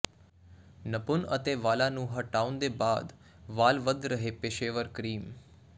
ਨਪੁੰਨ ਅਤੇ ਵਾਲਾਂ ਨੂੰ ਹਟਾਉਣ ਦੇ ਬਾਅਦ ਵਾਲ ਵਧ ਰਹੇ ਪੇਸ਼ੇਵਰ ਕਰੀਮ